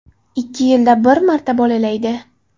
Ikki yilda bir marta bolalaydi.